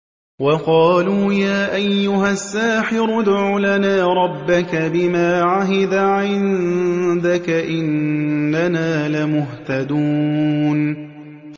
وَقَالُوا يَا أَيُّهَ السَّاحِرُ ادْعُ لَنَا رَبَّكَ بِمَا عَهِدَ عِندَكَ إِنَّنَا لَمُهْتَدُونَ